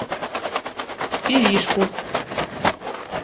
иришку